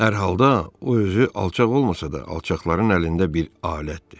Hər halda o özü alçaq olmasa da, alçaqların əlində bir alətdir.